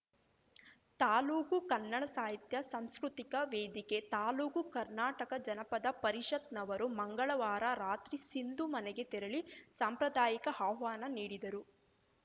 ತಾಲೂಕು ಕನ್ನಡ ಸಾಹಿತ್ಯ ಸಂಸ್ಕೃತಿಕ ವೇದಿಕೆ ತಾಲೂಕು ಕರ್ನಾಟಕ ಜನಪದ ಪರಿಷತ್‌ ನವರು ಮಂಗಳವಾರ ರಾತ್ರಿ ಸಿಂಧು ಮನೆಗೆ ತೆರಳಿ ಸಾಂಪ್ರದಾಯಿಕ ಆಹ್ವಾನ ನೀಡಿದರು